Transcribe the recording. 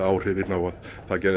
áhrif á að